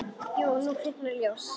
Jú, nú kviknar ljós.